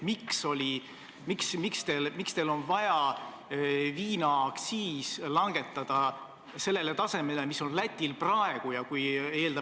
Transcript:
Miks teil on vaja viinaaktsiis langetada sellele tasemele, mis on Lätil praegu?